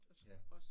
Ja